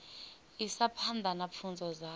isa phanḓa na pfunzo dzavho